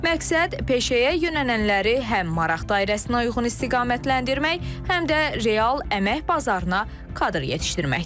Məqsəd peşəyə yönələnləri həm maraq dairəsinə uyğun istiqamətləndirmək, həm də real əmək bazarına kadr yetişdirməkdir.